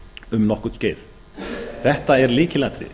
um nokkurt skeið þetta er lykilatriði